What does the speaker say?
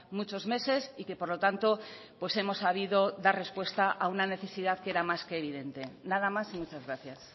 muchos meses y que por lo tanto hemos sabido dar respuesta a una necesidad que era más que evidente nada más y muchas gracias